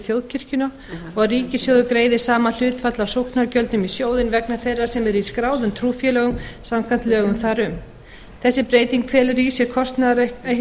þjóðkirkjuna og að ríkissjóður greiði sama hlutfall af sóknargjöldum í sjóðinn vegna þeirra sem eru í skráðum trúfélögum samkvæmt lögum þar um þessi breyting felur í sér kostnaðaraukningu